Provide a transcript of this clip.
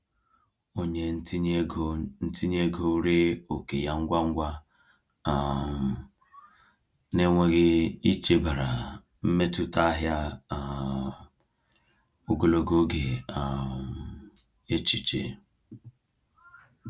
Onye ntinye ego ntinye ego ree oke ya ngwa ngwa um n’enweghị ichebara mmetụta ahịa um ogologo oge um echiche.